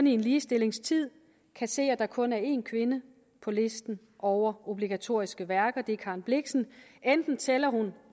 i en ligestillingstid kan se at der kun er en kvinde på listen over obligatoriske værker og det er karen blixen enten tæller hun